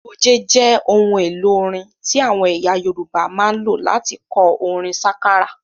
Goge jẹ ohun èlò orin tí àwọn ẹyà Yorùbá máa ń lò láti kọ orin sákárà